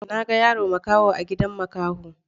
Na ga yaro makaho a gidan makaho.